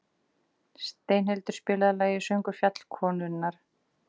Steinhildur, spilaðu lagið „Söngur fjallkonunnar“.